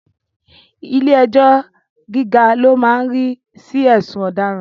Ilẹ́ ẹjọ́ gíga lo máa ń rí sí ẹ̀sùn ọ̀daràn